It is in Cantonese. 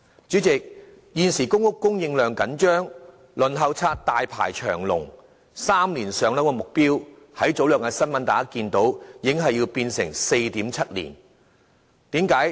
主席，現時公屋供應緊張，輪候冊大排長龍，大家在早兩天新聞都已得悉 ，"3 年上樓"的目標已經變為 4.7 年。